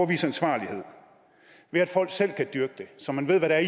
vise ansvarlighed ved at folk selv kan dyrke det så man ved hvad der